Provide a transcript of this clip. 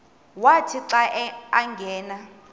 wathi xa angena